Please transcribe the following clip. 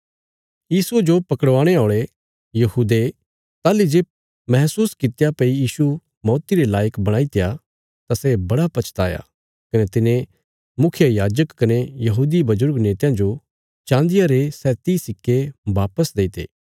यीशुये जो पकड़वाणे औल़े यहूदे ताहली जे महसूस कित्या भई यीशु मौती रे लायक बणाईत्या तां सै बड़ा पछताया कने तिने मुखियायाजक कने यहूदी बजुर्ग नेतयां जो चान्दिया रे सै तीह सिक्के बापस देईते